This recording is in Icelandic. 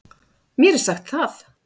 Mér er sagt það.